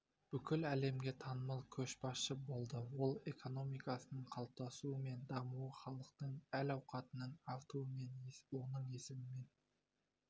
бүкіл әлемге танымал көшбасшы болды ел экономикасының қалыптасуы мен дамуы халықтың әл-ауқатының артуы оның есімімен